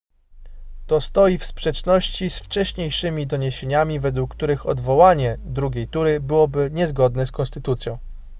to stoi w sprzeczności z wcześniejszymi doniesieniami według których odwołanie drugiej tury byłoby niezgodne z konstytucją